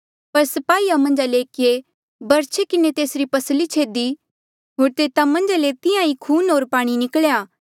पर स्पाहीया मन्झा ले एकिये बरछे किन्हें तेसरी पसली छेदी होर तेता मन्झा ले तिहां ईं खून होर पाणी निकल्या